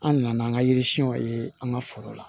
An nana an ka yiri siyɛnw ye an ka foro la